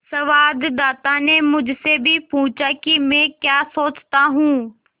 संवाददाता ने मुझसे भी पूछा कि मैं क्या सोचता हूँ